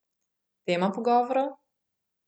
Tema pogovorov?